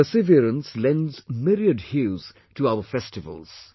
Their perseverance lends myriad hues to our festivals